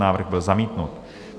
Návrh byl zamítnut.